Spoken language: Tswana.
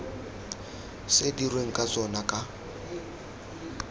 se dirweng ka tsona ka